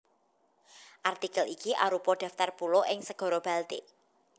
Artikel iki arupa daftar pulo ing Segara Baltik